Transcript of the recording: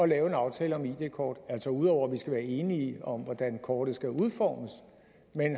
lave en aftale om id kort altså ud over at vi skal være enige om hvordan kortet skal udformes